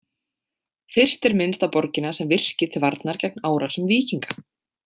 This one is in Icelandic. Fyrst er minnst á borgina sem virki til varnar gegn árásum víkinga.